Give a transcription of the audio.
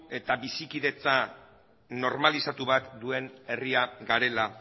eta bizikidetza normalizatu bat duen herria garela